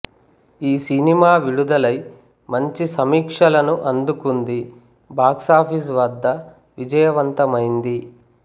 ఈ సినిమా విడుదలై మంచి సమీక్షలను అందుకుంది బాక్సాఫీస్ వద్ద విజయవంతమైంది